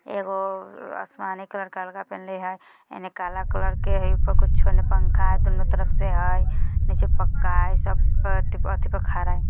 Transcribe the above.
एगो आसमानी कलर कालगा पेहनले है एह ने काला कलर का हिप पर कुछ एनो पंखा हैं दोनों तरफ से हैं नीचे पक्का है सब अति पर खरा हैं।